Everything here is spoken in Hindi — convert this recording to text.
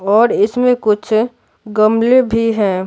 और इसमें कुछ गमले भी हैं।